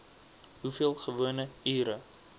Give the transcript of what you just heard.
hoeveel gewone ure